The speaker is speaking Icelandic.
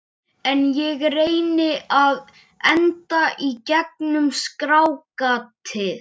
En ég reyni að anda í gegnum skráargatið.